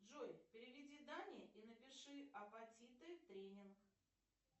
джой переведи дане и напиши апатиты тренинг